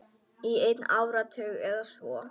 Í einn áratug eða svo.